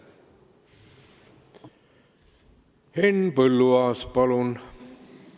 Henn Põlluaas, palun!